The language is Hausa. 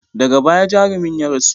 Daga baya jarumin ya rasu.